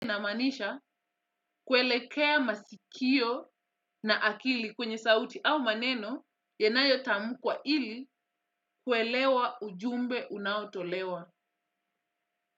Namaanisha kuelekea masikio na akili kwenye sauti au maneno yanayo tamukwa ili kuelewa ujumbe unaotolewa.